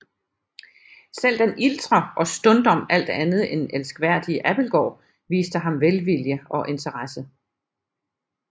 Selv den iltre og stundom alt andet end elskværdige Abildgaard viste ham velvilje og interesse